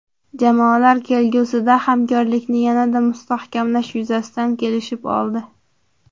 Jamoalar kelgusida hamkorlikni yanada mustahkamlash yuzasidan kelishib oldi.